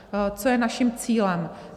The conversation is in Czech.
Co je naším cílem.